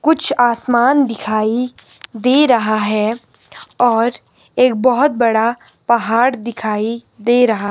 कुछ आसमान दिखाई दे रहा है और एक बहुत बड़ा पहाड़ दिखाई दे रहा--